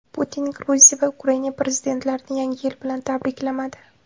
Putin Gruziya va Ukraina prezidentlarini Yangi yil bilan tabriklamadi.